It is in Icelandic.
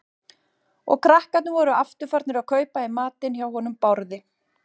Og krakkarnir voru aftur farnir að kaupa í matinn hjá honum Bárði.